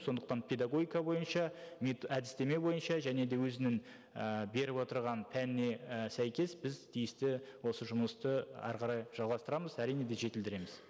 сондықтан педагогика бойынша әдістеме бойынша және де өзінің ііі беріп отырған пәніне і сәйкес біз тиісті осы жұмысты әрі қарай жалғастырамыз әрине де жетілдіреміз